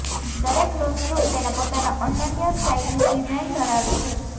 દરેક loft room તેના પોતાના અનન્ય સ્ટાઇલિશ ડિઝાઇન ધરાવે છે